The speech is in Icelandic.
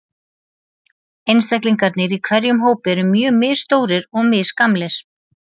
Einstaklingarnir í hverjum hópi eru mjög misstórir og misgamlir.